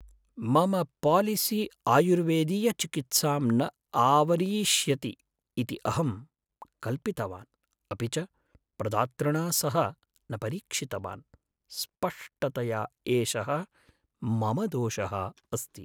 मम पालिसि आयुर्वेदीयचिकित्सां न आवरीष्यति इति अहं कल्पितवान्, अपि च प्रदातृणा सह न परीक्षितवान्। स्पष्टतया एषः मम दोषः अस्ति।